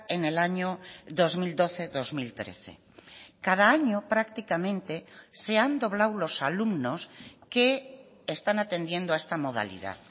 en el año dos mil doce dos mil trece cada año prácticamente se han doblado los alumnos que están atendiendo a esta modalidad